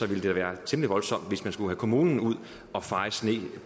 det være temmelig voldsomt hvis man skulle have kommunen ud at feje sne